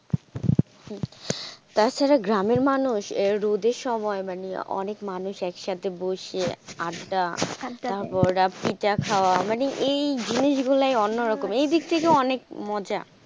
তাছাড়া গ্রামের মানুষ রোদের সময় মানে অনেক মানুষ একসাথে বসে আড্ডা তারপর পিঠা খাওয়া মানে এই এই জিনিস গুলা অন্যরকম এই দিক থেকে অনেক মজা,